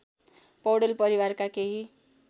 पौडेल परिवारका केही